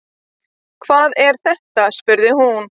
Hvað er þetta spurði hún.